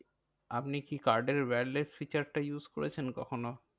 আপনি কি card এর wireless features টা use করেছেন কখনো?